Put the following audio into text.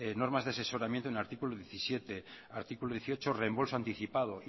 normas de asesoramiento en el artículo diecisiete artículo dieciocho reembolso anticipado